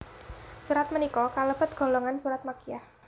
Surat punika kalebet golongan surat Makkiyah